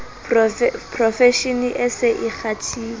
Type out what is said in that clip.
profeshene e se e kgathile